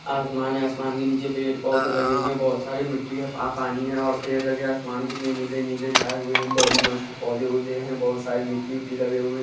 आसमान है आसमान के नीचे पेड़-पौधे लगे हुए हैं बहुत सारे मिट्टी है आ पानी है और पेड़ लगे हैं आसमान कितने नीले-नीले छाए हुए है बड़ी मस्त पौधे-औधे हैं बहुत सारी मिट्टी-विट्टी लगे हुए --